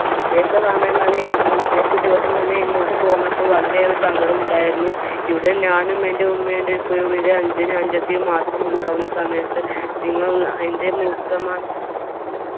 ഉദ്ദേശിച്ച സമയം തന്നെയും ഉദ്ദേശിച്ച തന്നെയും ഇങ്ങോട്ട് പോന്നപ്പോൾ വളരെയേറെ സങ്കടമുണ്ടായിരുന്നു ഇവിടെ ഞാനും എന്റെ ഉമ്മയും എന്റെ ഉപ്പയും എന്റെ അനുജനും അനുജത്തിയും മാത്രം ഉണ്ടാവുന്ന സമയത്ത് നിങ്ങലുള്ള എന്റെ മൂത്തമ്മാന്റെ